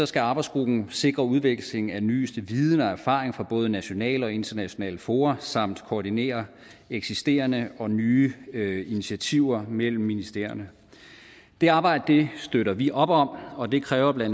skal arbejdsgruppen sikre udveksling af den nyeste viden og erfaring fra både nationale og internationale fora samt koordinere eksisterende og nye nye initiativer mellem ministerierne det arbejde støtter vi op om og det kræver bla